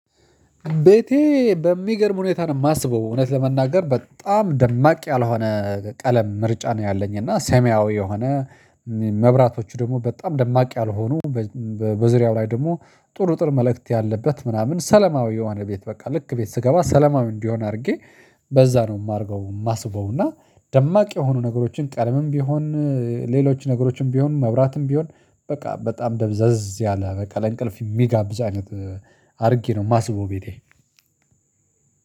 ቤቴ በሚገርም ሁኔታ ነው የማስበው እውነት ለመናገር በጣም ደማቅ ያልሆነ ቀለም ምርጫ ነው ያለኝ እና ሰማያዊ የሆነ መብራቶቹ ደግሞ በጣም ደማቂ ያልሆኑ። በዙሪያው ላይ ደግሞ ጥሩ ጥር መልእክት ያለበት ምናምን ሰለማዊ የሆነ ቤት በቃ ልክ ቤት ስገባ ሰለማዊ እንዲሆን አድርጌ። በዛ ነው የማርገው የማስበው እና ደማቅ የሆኑ ነገሮችን ቀለምም ቢሆን ሌሎች ነገሮችን ቢሆን መብራትም ቢሆን በቃ በጣም ደብዘዝ ያለ በቃ ለእንቅልፍ የሚጋብዝ አይነት አድርጌ ነው የማስውበው። ቤቴ